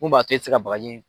Mun b'a to e tɛ se ka bagaji in